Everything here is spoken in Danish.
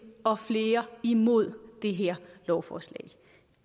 og flere som imod det her lovforslag